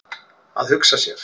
Að hugsa sér!